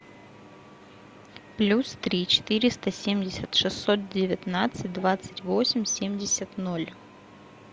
плюс три четыреста семьдесят шестьсот девятнадцать двадцать восемь семьдесят ноль